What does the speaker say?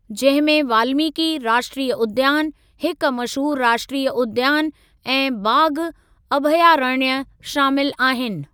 जंहिं में वाल्मीकि राष्ट्रीय उद्यान, हिक मशहूरु राष्ट्रीय उद्यान ऐं बाघ अभयारण्य शामिल आहिनि।